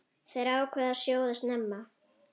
Þær ákváðu að sjóða snemma.